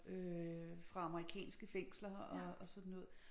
Øh fra amerikanske fængsler og og sådan noget